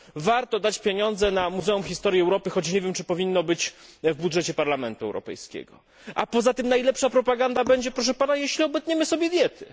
Warto dać pieniądze na Muzeum Historii Europy, choć nie wiem, czy powinny się one znaleźć w budżecie Parlamentu Europejskiego. Poza tym najlepsza propaganda będzie proszę Pana jeśli obetniemy sobie diety.